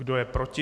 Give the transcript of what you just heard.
Kdo je proti?